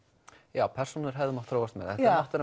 já persónur hefðu mátt þróast meira